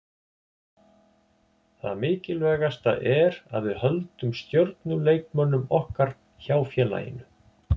Það mikilvægasta er að við höldum stjörnuleikmönnum okkar hjá félaginu.